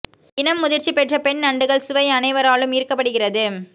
இன முதிர்ச்சி பெற்ற பெண் நண்டுகள் சுவை அனைவராலும் ஈர்க்க படுகிறது